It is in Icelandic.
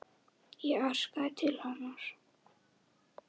Ég arkaði til hennar.